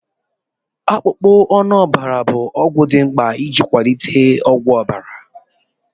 Akpụkpọ anụ ọbara bụ ọgwụ dị mkpa iji kwalite ọkwa ọbara.